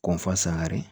Kɔnfu sangare